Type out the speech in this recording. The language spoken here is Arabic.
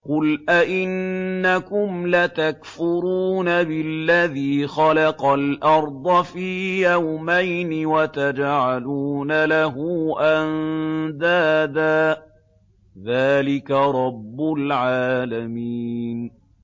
۞ قُلْ أَئِنَّكُمْ لَتَكْفُرُونَ بِالَّذِي خَلَقَ الْأَرْضَ فِي يَوْمَيْنِ وَتَجْعَلُونَ لَهُ أَندَادًا ۚ ذَٰلِكَ رَبُّ الْعَالَمِينَ